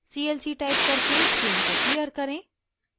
c l c type करके screen को clear करते हैं